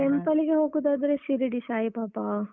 Temple ಲ್ಲಿಗೆ ಹೋಗುವುದಾದ್ರೆ ಶಿರಡಿ ಸಾಯಿಬಾಬಾ.